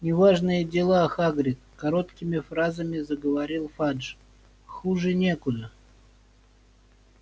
неважные дела хагрид короткими фразами заговорил фадж хуже некуда